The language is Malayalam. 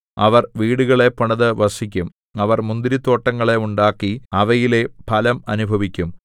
അവർ വീടുകളെ പണിതു വസിക്കും അവർ മുന്തിരിത്തോട്ടങ്ങളെ ഉണ്ടാക്കി അവയിലെ ഫലം അനുഭവിക്കും